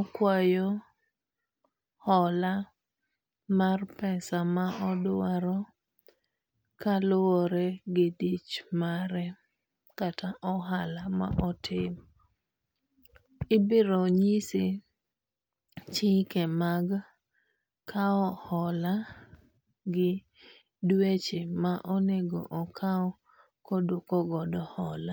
okuayo hola mar pesa ma dich mare kata odwaro kaluwore gi ohala ma otimo. Ibiro nyise chike mag kawo hola gi dweche ma onego okaw ka oduoko godo hola.